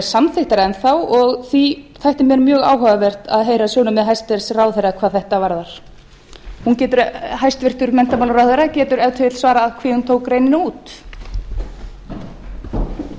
samþykktar enn þá og því þætti mér mjög áhugavert að heyra sjónarmið hæstvirtur ráðherra hvað þetta varðar hæstvirtur menntamálaráðherra getur ef til vill svarað hví hún